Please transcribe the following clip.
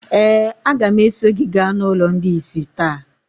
ee, a ga m eso gị gaa n’ụlọ ndị ìsì taa.